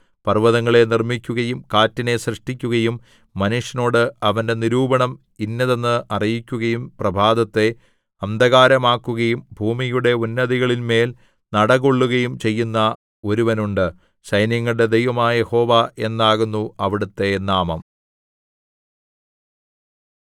പർവ്വതങ്ങളെ നിർമ്മിക്കുകയും കാറ്റിനെ സൃഷ്ടിക്കുകയും മനുഷ്യനോട് അവന്റെ നിരൂപണം ഇന്നതെന്ന് അറിയിക്കുകയും പ്രഭാതത്തെ അന്ധകാരമാക്കുകയും ഭൂമിയുടെ ഉന്നതികളിന്മേൽ നടകൊള്ളുകയും ചെയ്യുന്ന ഒരുവനുണ്ട് സൈന്യങ്ങളുടെ ദൈവമായ യഹോവ എന്നാകുന്നു അവിടുത്തെ നാമം